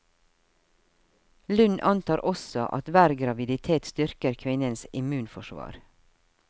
Lund antar også at hver graviditet styrker kvinnens immunforsvar.